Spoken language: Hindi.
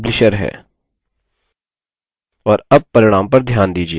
और अब परिणाम पर ध्यान दीजिये